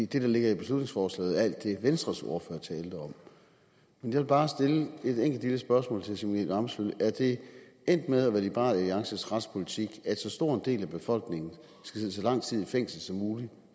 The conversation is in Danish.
det der ligger i beslutningsforslaget er alt det venstres ordfører talte om jeg vil bare stille et enkelt lille spørgsmål til herre simon emil ammitzbøll er det endt med at være liberal alliances retspolitik at så stor en del af befolkningen skal sidde så lang tid i fængsel som muligt